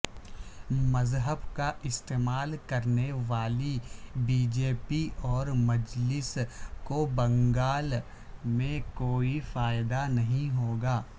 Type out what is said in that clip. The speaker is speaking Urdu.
مذہب کااستعمال کرنے والی بی جے پی اورمجلس کوبنگال میں کوئی فائدہ نہیں ہوگا